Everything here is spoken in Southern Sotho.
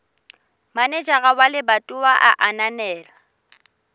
manejara wa lebatowa a ananela